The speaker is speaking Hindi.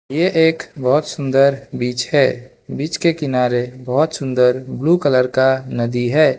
ये एक बहुत सुंदर बीच है बीच के किनारे बहुत सुंदर ब्लू कलर का नदी है।